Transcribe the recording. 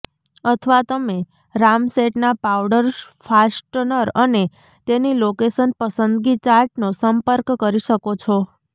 અથવા તમે રામસેટના પાવડર ફાસ્ટનર અને તેની લોકેશન પસંદગી ચાર્ટનો સંપર્ક કરી શકો છો